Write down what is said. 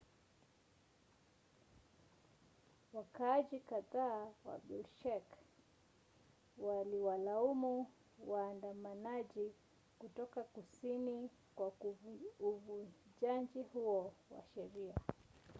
wakaaji kadhaa wa bishkek waliwalaumu waandamanaji kutoka kusini kwa uvunjaji huo wa sheria